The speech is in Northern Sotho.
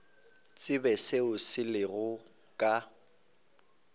tsebe seo se lego ka